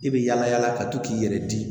I bɛ yala yala ka to k'i yɛrɛ di